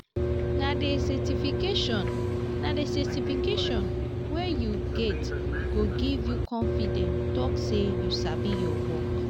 nah di certification nah di certification wey u get go give u confidence talk say you sabi ur work.